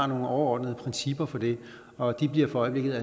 nogle overordnede principper for det og de bliver i øjeblikket